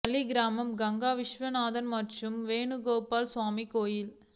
தளி கிராமம் கங்கா விஸ்வநாதர் மற்றும் வேணு கோபால சுவாமி கோயில்